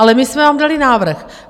Ale my jsme vám dali návrh.